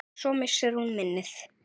En svo missir hún minnið.